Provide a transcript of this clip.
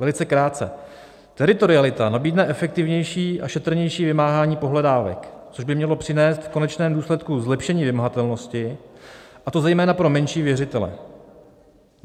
Velice krátce: "Teritorialita nabídne efektivnější a šetrnější vymáhání pohledávek, což by mělo přinést v konečném důsledku zlepšení vymahatelnosti, a to zejména pro menší věřitele.